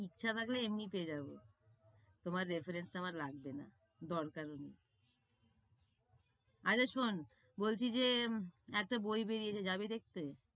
ইচ্ছা থাকলে এমনিতেই যাবো। তোমার reference তো আমার লাগবে না, দরকারও নেই। আরে শোন, বলছি যে একটা বই বেড়িয়েছে যাবি দেখতে?